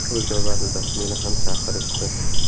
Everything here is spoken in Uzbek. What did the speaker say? O‘z navbatida meni ham chaqirishdi.